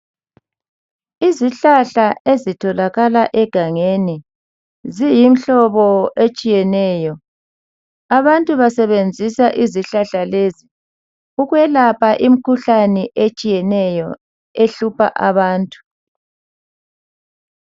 Izihlahla ezitholakala egangeni. Ziyimhlobo etshiyeneyo. Abantu basebenzisa izihlahla lezi ukwelapha imkhuhlane etshiyeneyo ehlupha abantu.